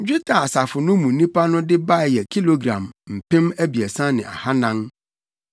Dwetɛ a asafo no mu nnipa no de bae yɛ kilogram mpem abiɛsa ne ahannan (3,400).